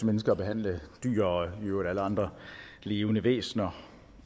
mennesker at behandle dyr og i øvrigt alle andre levende væsner